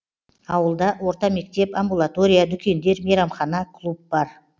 ауылда орта мектеп амбулатория дүкендер мейрамхана клуб бар